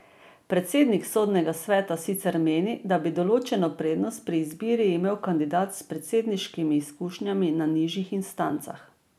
Predsednik Sodnega sveta sicer meni, da bi določeno prednost pri izbiri imel kandidat s predsedniškimi izkušnjami na nižjih instancah.